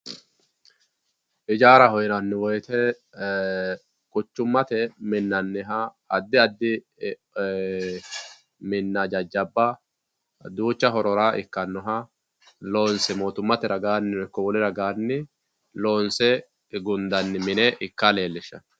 Ijaraho yinanni woyite ee quchumate minaniha adi adi ee minna jajaba ducha horora ikanoha motummate iko wolle raganni lonse gundaniha mi e ika lelishano